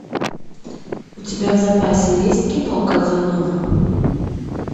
у тебя в запасе есть кино казанова